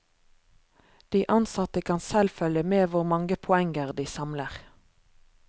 De ansatte kan selv følge med hvor mange poenger de samler.